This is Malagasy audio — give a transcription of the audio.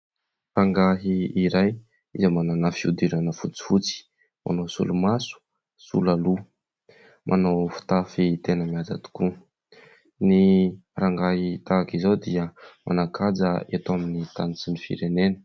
Rangahy iray izay manana fihodirana fotsifotsy. Manao solomaso, solaloha, manao fitafy tena mihaja tokoa. Ny rangahy tahaka izao dia manan-kaja eto amin'ny tany sy ny firenena.